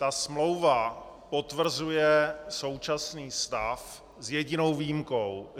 Ta smlouva potvrzuje současný stav s jedinou výjimkou.